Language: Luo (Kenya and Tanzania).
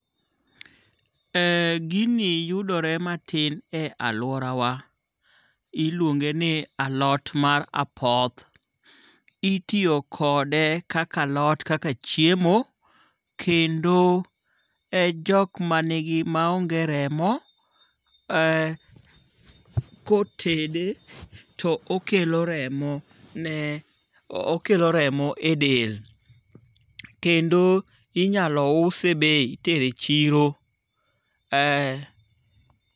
Eee gini yudore matin e aluorawa, iluonge' ni alot mar apoth, itiyo kode kaka alot kaka chiemo, kendo e jok manigi maonge' remo ee kotede to okelo remo, ne okelo remo e del kendo inyalo use bei itero e chiro ee.